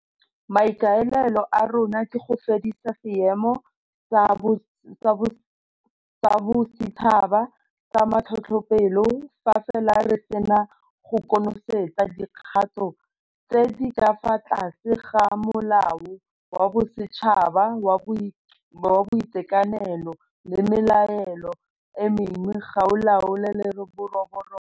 Maikaelelo a rona ke go fedisa Seemo sa Bosetšhaba sa Matlhotlhapelo fa fela re se na go konosetsa dikgato tse di ka fa tlase ga Molao wa Bosetšhaba wa Boitekanelo le melao e mengwe go laola leroborobo.